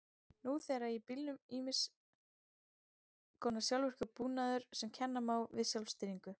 Nú þegar er í bílum ýmiss konar sjálfvirkur búnaður sem kenna má við sjálfstýringu.